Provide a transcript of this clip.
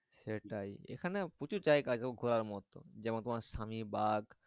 সেটাই এখানে প্রচুর জায়গা আছে ঘোড়ার মতো যেমন স্বামী ব্যাগ।